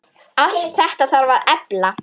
Allt þetta þarf að efla.